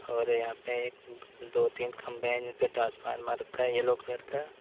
और यहां पे दो तीन खंबे हैं जिसपे ट्रांसफार्मर रखा है येलो कलर का।